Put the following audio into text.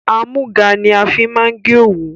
Àmúga ni a fi máa ń gé òwu